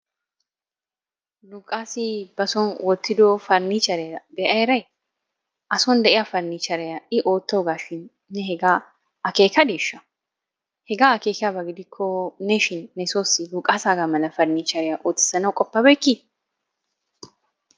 Luqaassi basoon oottiddo pariniichcheriya bea eray? A son de'iya pariniichcheriya I oottoogaashin hegaa akeekkadiisha hegaa akeekkiyaba giddikko ne shin nesoossi luqaassaga mala parnichcheeriya oottissanawu qoppabeykki?